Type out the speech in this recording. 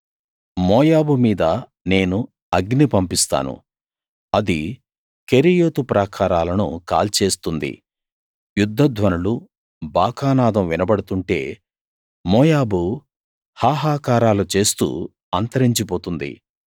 మోయాబు మీద నేను అగ్ని పంపిస్తాను అది కెరీయోతు ప్రాకారాలను కాల్చేస్తుంది యుద్ధ ధ్వనులూ బాకానాదం వినబడుతుంటే మోయాబు హాహాకారాలు చేస్తూ అంతరించి పోతుంది